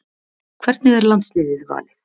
Hvernig er landsliðið valið